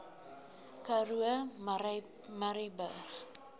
karoo murrayburg